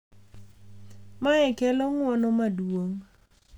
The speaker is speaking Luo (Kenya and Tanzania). Mae kelo ng’uono maduong’,